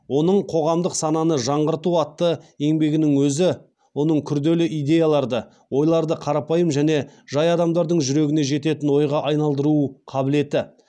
оның қоғамдық сананы жаңғырту атты еңбегінің өзі оның күрделі идеяларды ойларды қарапайым және жай адамдардың жүрегіне жететін ойға айналдыру қабілеті